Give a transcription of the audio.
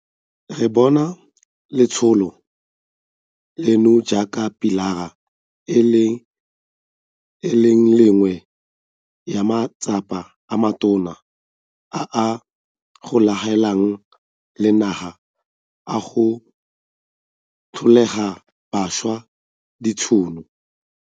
Re bona letsholo leno jaaka pilara e le nngwe ya matsapa a matona a a golaganeng le naga a go tlholela bašwa ditšhono.